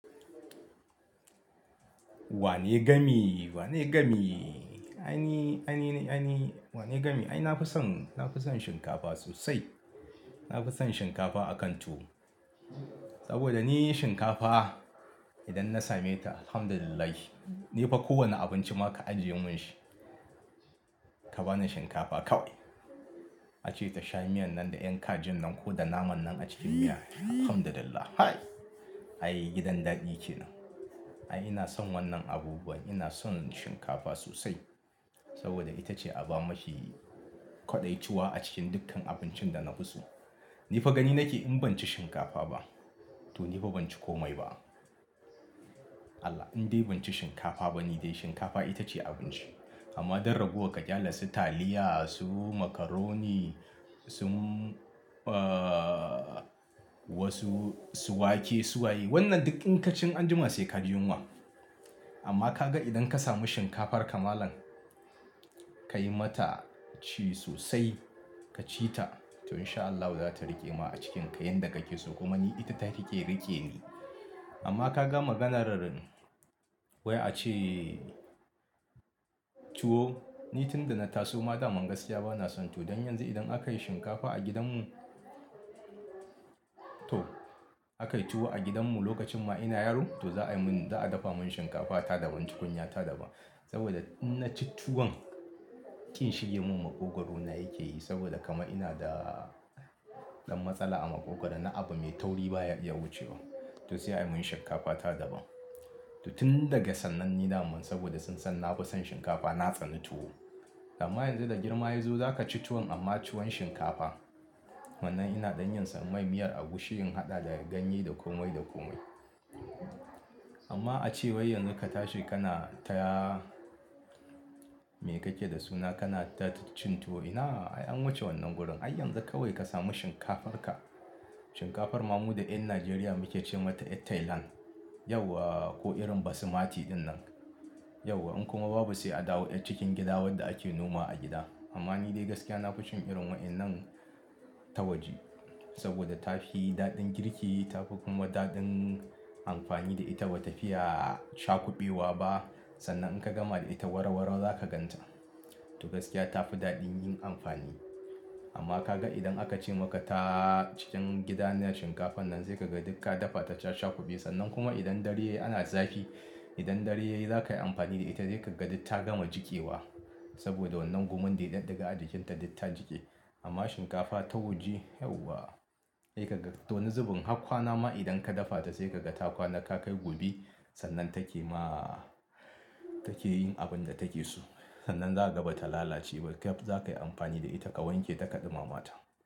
Wane gami, wane gami? Ai ni, ai ni, ai ni wane gami? Ai nafi son, nafi son shinkafa sosai. Nafi son shinkafa a kan tuwo. Saboda ni shinkafa idan na same ta Alhamdulillah. Ni fa kowane abinci ma ka ajiye mun shi, ka bani shinkafa kawai. A ce ta sha miyan nan da yan kajin nan ko da naman nan a cikin miya, Alhamdulillah. Hai! Ai gidan daɗi ke nan. Ai ina son wannan abubuwan, ina son shinkafa sosai. Saboda ita ce a ba ma shi kwaɗayi tuwo a cikin dukkan abincin da na fi so. Ni fa gani nake in ban ci shinkafa ba to ni fa ban ci komai ba. Allah, in dai ban ci shinkafa ba ni dai shinkafa ita ce abinci. Amma don ragowar ka ƙyale su taliya, su macaroni, su, ahhh wasu su wake, su a yi wannan duk inkaccin anjima sai ka ji yunwa. Amma ka ga idan ka sami shinkafar ka malam, ka yi mata ci sosai, ka ci ta to in sha Allah za ta riƙe ma a cikin kai yadda kake so. Kuma ni ita take riƙe ni. Amma ka gama ganar wai a ce tuwo, ni tun da na taso ma da man gaskiya bana son tuwo. Don yanzu idan aka yi shinkafa a gidan mu, to aka yi tuwo a gidan mu lokacin ma ina yaro to za a yi mun, za a dafa mun shinkafa ta daban, tukunya ta daban. Saboda in na ci tuwon, ƙin shige mun maƙogwaro na yake yi. Saboda kama ina da ɗan matsala a maƙogwaro. Na abu mai tauri baya wucewa. To sai a yi mun shinkafa ta daban. To tun daga sannan ni daman saboda sun san nafi son shinkafa na tsani tuwo. Amma yanzu da girma ya zo za ka ci tuwon amma tuwon shinkafa. Wannan ina ɗan yin san mai miyar agushi yin haɗa da ganye da komai da komai. Amma a ce wai yanzu ka tashi kana ta me kake da suna? Kana ta cin tuwo. Ina? An wuce wannan gurin. Ai yanzu kawai ka sami shinkafar ka. Shinkafar mamu da ƴan Najeriya muke ce mata ƴar Thailand. Yauwa! Ko irin Basmati ɗin nan. Yauwa! In kuma babu sai a dawo ƴar cikin gida wadda ake noma a gida. Amma ni dai gaskiya nafison irin waƴannan ta waje. Saboda ta fi daɗin girki, ta fi kuma daɗin amfani da ita bata fiya sha kuɓewa ba. Sannan in ka gama da ita warawaro zaka gan ta. To gaskiya tafi daɗin yin amfani. Amma ka ga idan aka ce maka ta cikin gida ne shinkafan nan sai ka ga duk ka dafa ta ta sha kuɓe. Sannan kuma idan dare ana zafi, idan dare yayi za ka yi amfani da ita sai ka ga duk ta gama jiƙewa. Saboda wannan gumun dai ɗan daga ajikin ta dai ta jiƙe. Amma shinkafa ta waje yauwa! Sai ka ga. To wani zubin hakkwana ma idan ka dafa ta sai ka ga ta kwana ka kai gobe sannan take ma take yin abin da take so. Sannan za ka ga bata lalace ba. Kai za ka yi amfani da ita ka wanke ta ka ɗumama ta.